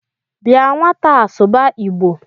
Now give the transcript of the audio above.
Bịa nwataa sụba Igbo